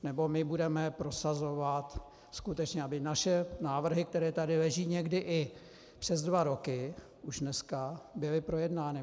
Nebo my budeme prosazovat skutečně, aby naše návrhy, které tady leží někdy i přes dva roky, už dneska, byly projednány.